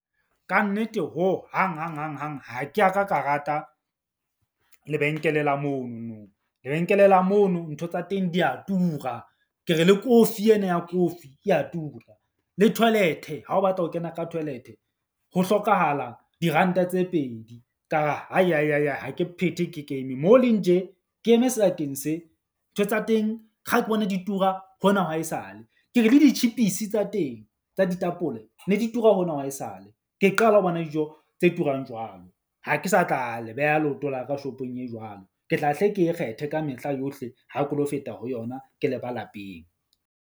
Kannete hohang hanghang hang ha ke a ka ka rata lebenkele la mono nong. Lebenkele la mono ntho tsa teng di ya tura. Ke re le kofi ena ya kofi e a tura. Le toilet-e ha o batla ho kena ka toilet-e ho hlokahala diranta tse pedi. Ka re, ha ke phethe ke kene moo ho leng tje. Ke eme se, ntho tsa teng kga ke bona di tura hona ha esale. Ke re le ditjhipisi tsa teng, tsa ditapole ne di tura hona ha esale. Ke qala ho bona dijo tse turang jwalo. Ha ke sa tla le beya leoto la ka shop-ong e jwalo. Ke tla hle ke e kgethe ka mehla yohle, ha ke lo feta ho yona ke leba lapeng.